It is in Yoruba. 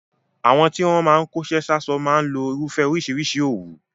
Àwọn tí wọ́n máa ń kóṣẹ́ sáṣọ máa ń lo irúfẹ́ oríṣìíríṣìí òwú.